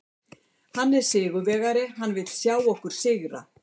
Hann er sigurvegari, hann vill sjá okkur sigra.